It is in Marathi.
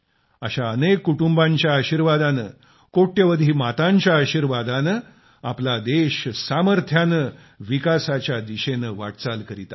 अशा अनेक कुटुंबांच्या आशीर्वादाने कोट्यावधी मातांच्या आशीर्वादाने आपला देश सामर्थ्याने विकासाच्या दिशेने वाटचाल करत आहे